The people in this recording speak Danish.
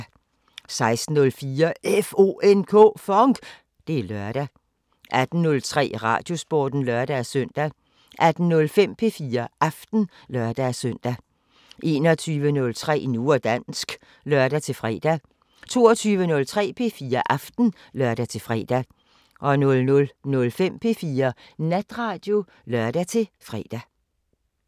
16:04: FONK! Det er lørdag 18:03: Radiosporten (lør-søn) 18:05: P4 Aften (lør-søn) 21:03: Nu og dansk (lør-fre) 22:03: P4 Aften (lør-fre) 00:05: P4 Natradio (lør-fre)